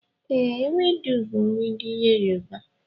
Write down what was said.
E, ewedu bu nri ndi Yoruba